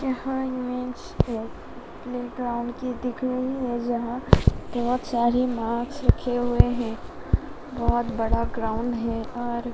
यह इमेज है प्लेग्राउंड भी दिख रही है जहां बहुत सारी मास्क रखे हुए है। बहुत बड़ा ग्राउंड है और --